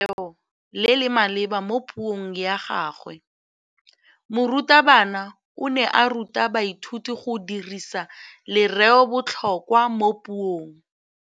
O dirisitse lerêo le le maleba mo puông ya gagwe. Morutabana o ne a ruta baithuti go dirisa lêrêôbotlhôkwa mo puong.